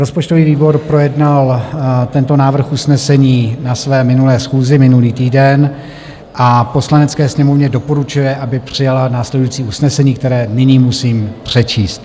Rozpočtový výbor projednal tento návrh usnesení na své minulé schůzi minulý týden a Poslanecké sněmovně doporučuje, aby přijala následující usnesení, které nyní musím přečíst: